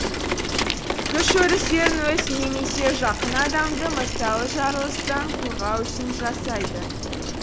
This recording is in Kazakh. күш өрістерін өзін немесе жақын адамды мысалы жарылыстан қорғау үшін жасайды